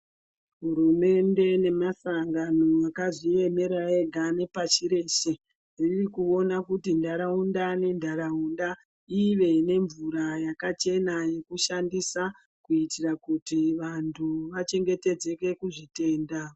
Hurumende nemasangano akazviemera ega nepashireshe ririkuona kuti ntaraunda nentaraunda ive nemvura yakachena yekushandisa kuitira kuti vantu vachengetedzeke kuzvitenda.